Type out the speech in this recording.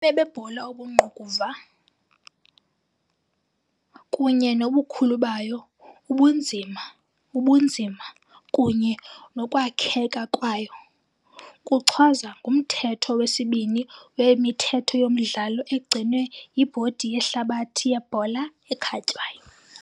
Ubume bebhola obungqukuva, kunye nobukhulu bayo, ubunzima, ubunzima, kunye nokwakheka kwayo, kuchazwa nguMthetho wesi-2 weMithetho yoMdlalo egcinwe yiBhodi yeHlabathi yeBhola eKhatywayo.